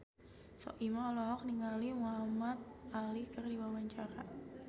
Soimah olohok ningali Muhamad Ali keur diwawancara